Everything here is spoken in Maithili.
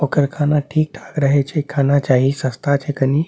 ओकर खाना ठीक-ठाक रहे छै खाना चाही सस्ता चाही खनी।